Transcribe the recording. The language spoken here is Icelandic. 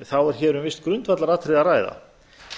þá er hér um visst grundvallaratriði að ræða